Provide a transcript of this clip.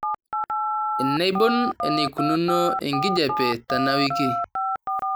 enaibon eneikununo enkijiape tenawiki